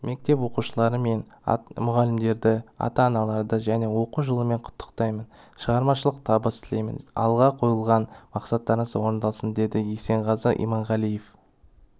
мектеп оқушылары мен мұғалімдерді ата-аналарды жаңа оқу жылымен құттықтаймын шығармашылық табыс тілеймін алға қойған мақсаттарыңыз орындалсын деді есенғазы иманғалиев